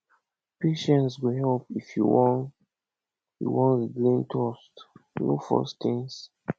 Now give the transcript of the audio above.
patience go help if you wan you wan regain trust no force things